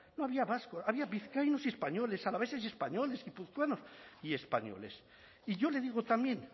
no había vascos había vizcaínos y españoles alaveses y españoles guipuzcoanos y españoles y yo le digo también